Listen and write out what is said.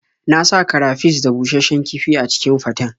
Na sa karafish da bushasshen kifi a cikin faten.